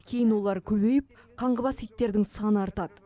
кейін олар көбейіп қаңғыбас иттердің саны артады